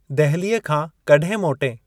दहलीअ खां कड॒हिं मोटएं?